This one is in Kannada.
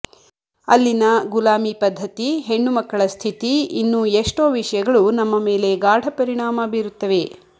ಅಲ್ಲಿನ ಗುಲಾಮಿ ಪದ್ಧತಿ ಹೆಣ್ಣುಮಕ್ಕಳ ಸ್ಥಿತಿ ಇನ್ನೂ ಎಷ್ಟೋ ವಿಷಯಗಳು ನಮ್ಮ ಮೇಲೆ ಗಾಢ ಪರಿಣಾಮ ಬೀರುತ್ತವೆ